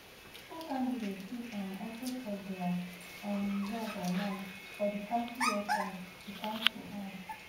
school candidates fit um also check dia um results online for di council website di council add